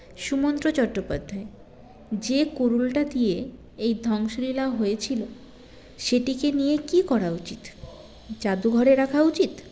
সুমন্ত্র চট্টোপাধ্যায় যে কুড়ুলটা দিয়ে এই ধ্বংসলীলা হয়েছিল সেটিকে নিয়ে কী করা উচিত জাদুঘরে রাখা উচিত